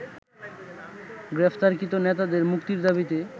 গ্রেপ্তারকৃত নেতাদের মুক্তির দাবীতে